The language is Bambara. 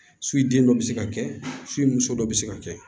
den dɔ bɛ se ka kɛ fu ye muso dɔ be se ka kɛ